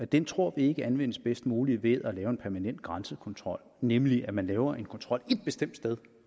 dem tror vi ikke anvendes bedst muligt ved at lave en permanent grænsekontrol nemlig ved at man laver en kontrol ét bestemt sted